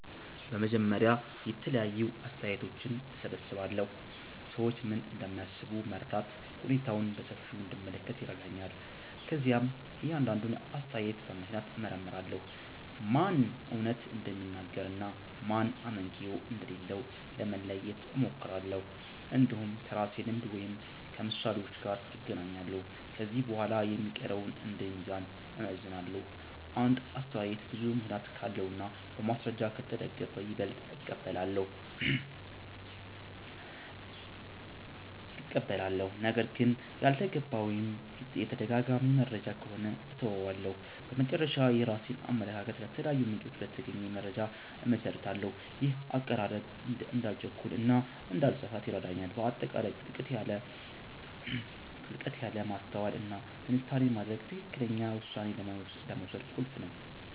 በመጀመሪያ የተለያዩ አስተያየቶችን እሰብስባለሁ። ሰዎች ምን እንደሚያስቡ መረዳት ሁኔታውን በሰፊው እንድመለከት ይረዳኛል። ከዚያም እያንዳንዱን አስተያየት በምክንያት እመርምራለሁ፤ ማን እውነት እንደሚናገር እና ማን አመክንዮ እንደሌለው ለመለየት እሞክራለሁ። እንዲሁም ከራሴ ልምድ ወይም ከምሳሌዎች ጋር እናገናኛለሁ። ከዚህ በኋላ የሚቀረውን እንደ ሚዛን እመዝናለሁ። አንድ አስተያየት ብዙ ምክንያት ካለው እና በማስረጃ ከተደገፈ ይበልጥ እቀበላለሁ። ነገር ግን ያልተገባ ወይም የተደጋጋሚ መረጃ ከሆነ እተወዋለሁ። በመጨረሻ፣ የራሴን አመለካከት ከተለያዩ ምንጮች በተገኘ መረጃ እመሰርታለሁ። ይህ አቀራረብ እንዳልቸኩል እና እንዳልተሳሳት ይረዳኛል። በአጠቃላይ ጥልቀት ያለ ማስተዋል እና ትንታኔ ማድረግ ትክክለኛ ውሳኔ ለመውሰድ ቁልፍ ነው